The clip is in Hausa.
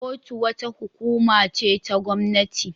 Kotu wata hukuma ce ta gwamnati.